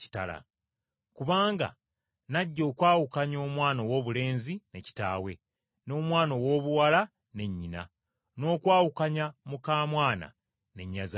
Kubanga najja okwawukanya “ ‘omwana owoobulenzi ne kitaawe, n’omwana owoobuwala ne nnyina n’okwawukanya muka mwana ne nnyazaala we.